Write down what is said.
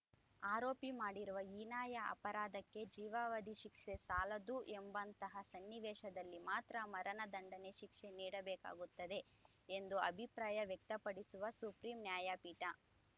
ಆರೋಪಿ ಮಾಡಿರುವ ಹೀನಾಯ ಅಪರಾಧಕ್ಕೆ ಜೀವಾವಧಿ ಶಿಕ್ಷೆ ಸಾಲದ್ದು ಎಂಬಂತಹ ಸನ್ನಿವೇಶದಲ್ಲಿ ಮಾತ್ರ ಮರಣ ದಂಡನೆ ಶಿಕ್ಷೆ ನೀಡಬೇಕಾಗುತ್ತದೆ ಎಂದು ಅಭಿಪ್ರಾಯ ವ್ಯಕ್ತಪಡಿಸಿರುವ ಸುಪ್ರೀಂ ನ್ಯಾಯಪೀಠ